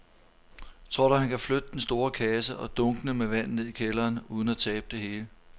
Tror du, at han kan flytte den store kasse og dunkene med vand ned i kælderen uden at tabe det hele?